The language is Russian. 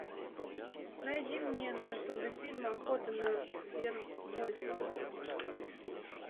найди мне на ютубе фильм охота на вервольфа